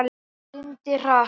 Syndir hratt.